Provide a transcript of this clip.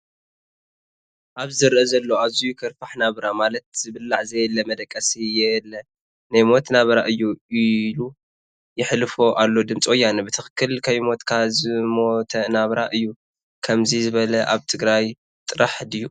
ኣብዚ ዝረኣ ዘሎ ኣዝዩ ከርፋሕ ናብራ ማለት ዝብላዕ ዘየለ ፣መደቀሲ የለ ናይ ሞት ናብራ እዩ ኢሉ የሕልፎ ኣሎ ድምፂ ወያነ ። ብትክክል ከይሞትካ ዝሞተ ናብራ እዩ ከምዚ ዝበለ ኣብ ትግራይ ጥራሕ ድዩ?